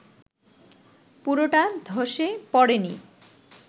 পুরোটা ধসে পড়েনি